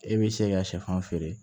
E bɛ se ka sɛfan feere